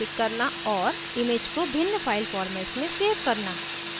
image को भिन्न file formats में सेव करना